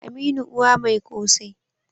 aminu Uwa Mai kose